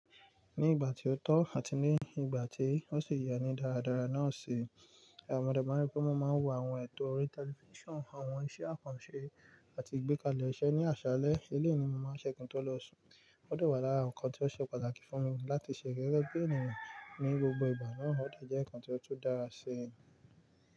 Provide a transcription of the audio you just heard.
Ní ìgbà tí ó tọ́ àti ní ìgbà tí ó sì ye ní dáradára náà ṣi, à mo dé máa ń rí pé wọn máa ń wo awon ètò orí tẹlifíṣàn, àwọn iṣẹ́ àkànṣe àti ìgbékalẹ̀ iṣẹ́ ní àsálẹ́. Eléyí ni mo máa ń ṣẹ́ ki n tó lọ sùn. Ó de wá làra nǹkan tí ó ṣe pàtàkì fún mi láti ṣe gege bi ènìyàn ní gbogbo ìgbà náà ó de jẹ́ nǹkan tí ó tún dára sí ẹ̀mí.